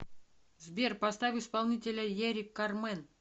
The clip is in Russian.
сбер поставь исполнителя эрик кармен